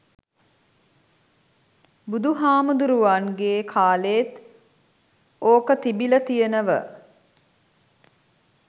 බුදු හාමුදුරුවන්ගෙ කාලෙත් ඕක තිබිල තියනව.